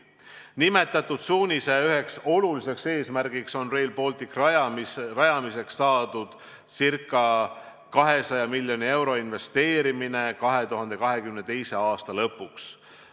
Nimetatud suunise üheks oluliseks eesmärgiks on Rail Balticu rajamiseks saadud ca 200 miljoni euro investeerimine 2022. aasta lõpuks.